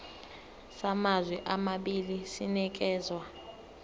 samazwe amabili sinikezwa